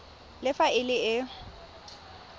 le fa e le e